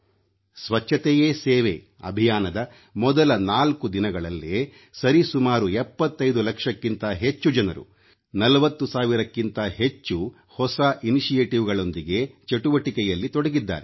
ಸ್ವಚ್ಚತೆಯೇ ಸೇವೆ ಅಭಿಯಾನದ ಮೊದಲ ನಾಲ್ಕು ದಿನಗಳಲ್ಲೇ ಸರಿ ಸುಮಾರು 75 ಲಕ್ಷಕ್ಕಿಂತ ಹೆಚ್ಚು ಜನರು 40 ಸಾವಿರಕ್ಕಿಂತ ಹೆಚ್ಚು ಹೊಸ ಇನಿಶಿಯೇಟಿವ್ಗಳೊಂದಿಗೆ ಚಟುವಟಿಕೆಯಲ್ಲಿ ತೊಡಗಿದ್ದಾರೆ